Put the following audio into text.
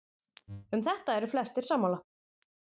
um þetta eru flestir sammála